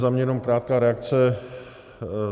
Za mě jenom krátká reakce.